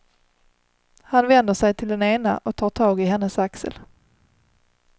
Han vänder sig till den ena och tar tag i hennes axel.